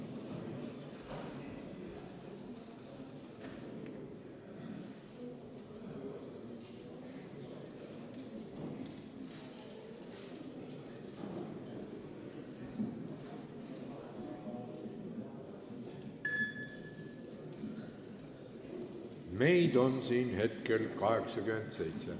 Kohaloleku kontroll Meid on siin hetkel 87.